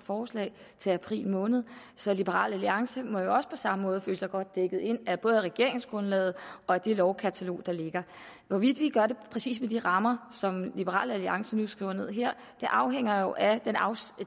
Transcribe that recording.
forslag til april måned så liberal alliance må jo også på samme måde føle sig godt dækket ind af både regeringsgrundlaget og det lovkatalog der ligger hvorvidt vi gør det præcis med de rammer som liberal alliance har skrevet ned her afhænger jo af